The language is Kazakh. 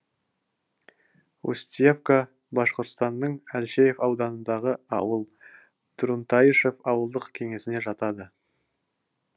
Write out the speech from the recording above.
устьевка башқұртстанның әлшеев ауданындағы ауыл трунтайышев ауылдық кеңесіне жатады